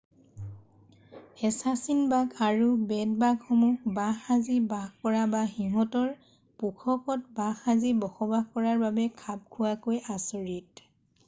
assassin bug আৰু বেড-বাগসমূহ বাঁহ সাজি বাস কৰা বা সিহঁতৰ পোষকত বাহ সাজি বসবাস কৰাৰ বাবে খাপ খোৱাকৈ আচৰিত